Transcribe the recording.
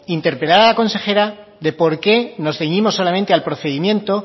interpelar a la consejera de por qué nos ceñimos solamente al procedimiento